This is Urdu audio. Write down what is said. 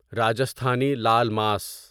راجستھانی لال ماس